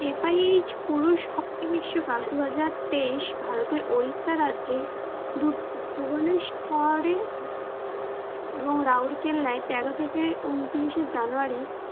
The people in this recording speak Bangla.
FIH পুরুষ hockey বিশ্বকাপ দু হাজার তেইশ ভারতের Odisha রাজ্যের Bhubaneswar রে এবং রৌরকেল্লায় তেরো থেকে ঊনত্রিশে জানুয়ারি